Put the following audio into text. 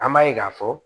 An b'a ye k'a fɔ